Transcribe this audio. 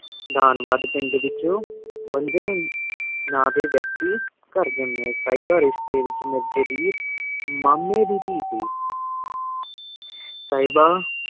ਡਰਨ ਵਾਦੇ ਕੀ ਪੇੰਡ ਵੇਕ੍ਜ ਵੇਨ੍ਜੇਨ ਨਾਮ ਡੀ ਵੇਆਕਤੀ ਕੇਰ੍ਦੇਆਂ ਸੇਬਾ ਮੇਰ੍ਜ੍ਯ ਦੀ ਰ੍ਸ਼੍ਟੀ ਦੀ ਮੰਮੀ ਦੀ ਟੀ ਸੀ ਸੇਬਾ